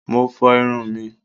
Mo fo irun mí.